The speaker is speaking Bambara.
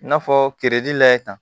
I n'a fɔ kereji layɛ ta